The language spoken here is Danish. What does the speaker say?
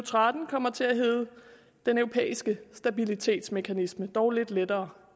tretten kommer til at hedde den europæiske stabilitetsmekanisme dog lidt lettere